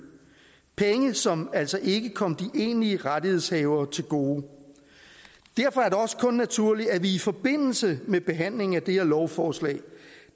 penge som altså ikke kom de egentlige rettighedshavere til gode derfor er det også kun naturligt at vi i forbindelse med behandlingen af det her lovforslag